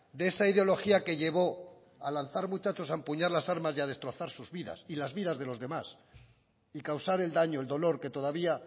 de esa ideología que llevó a lanzar muchachos a empuñar las armas y a destrozar sus vidas y las vidas de los demás y causar el daño el dolor que todavía